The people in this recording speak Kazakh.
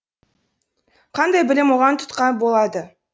қандай білім оған тұтқа болады